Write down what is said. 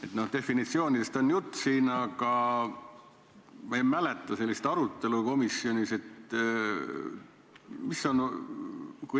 Siin oli jutt definitsioonidest, aga ma ei mäleta sellist arutelu komisjonis.